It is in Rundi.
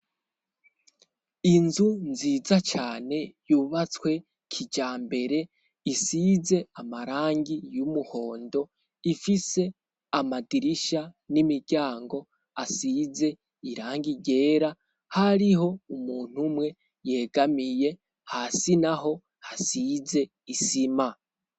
Inzu nziza cane yubatswe kijambere, isize amarangi y'umuhondo, ifise amadirisha n'imiryango asize irangi ryera, hariho umuntu umwe yegamiye, hasi naho hasize isima.